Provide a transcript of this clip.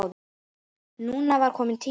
Núna var tími til kominn.